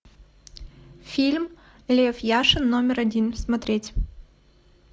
фильм лев яшин номер один смотреть